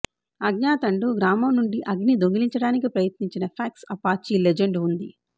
అజ్ఞాతండు గ్రామం నుండి అగ్ని దొంగిలించడానికి ప్రయత్నించిన ఫాక్స్ అపాచీ లెజెండ్ ఉంది